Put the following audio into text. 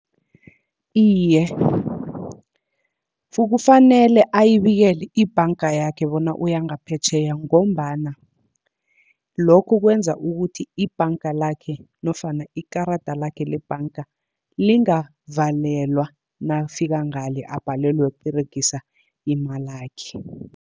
Iye, kufanele ayibikele ibhanga yakhe bona uya ngaphetjheya, ngombana lokho kwenza ukuthi ibhanga lakhe nofana ikarada lakhe lebhanga, lingavalelwa nakafika ngale abhalelwe kuberegisa imalakhe.